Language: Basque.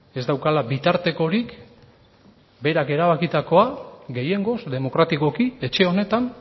ez daukala bitartekorik berak erabakitakoa gehiengoz demokratikoki etxe honetan